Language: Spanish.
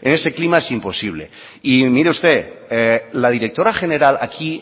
en ese clima es imposible y mire usted la directora general aquí